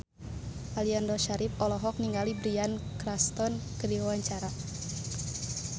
Aliando Syarif olohok ningali Bryan Cranston keur diwawancara